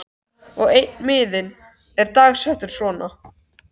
Og einn miðinn er dagsettur svona